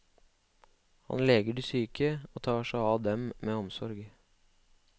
Han leger de syke og tar seg av dem med omsorg.